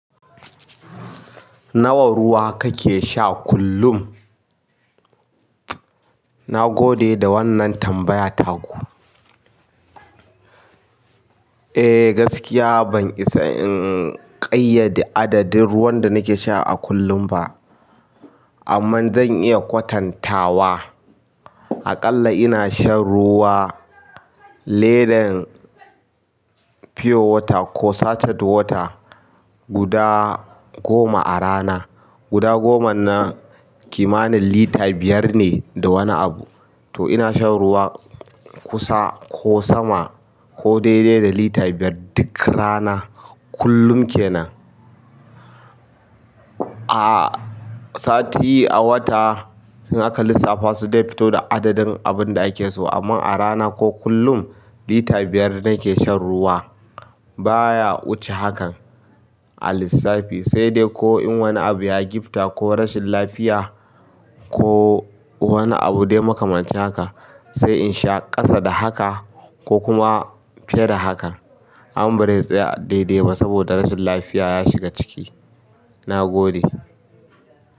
Nawa ruwa kake sha kullum? Na gode da wannan tambaya taku. Eh gaskiya ban iya in ƙayyada adadin ruwan da nake sha a kullum ba. Amma zan iya kwatantawa. Aƙalla ina shan ruwa ledan fiye wata ko sacet da wata guda goma a rana. Guda goma na kimanin lita biyar ne da wani abu. To ina shan ruwa ƙusa ko sama ko daidai da lita biyar duk rana kullum kenan. A sati a wata in aka lissafa su dai fito da adadin abin da ake so amma a rana ko kullum lita biyar nake shan ruwa. Ba ya wuce hakan a lissafi sai dai ko in wani abu ya gibta ko rashin lafiya ko wani abu dai makamanci haka sai in sha ƙasa da haka ko kuma fiye da haka. Amma bai zai tsaya daidai ba saboda rashin lafiya ya shiga ciki. Na gode.